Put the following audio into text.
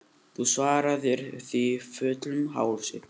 Þú svaraðir því fullum hálsi.